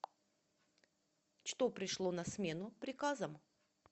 что пришло на смену приказам